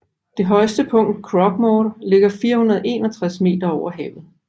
Det højeste punkt Croaghmore ligger 461 meter over havet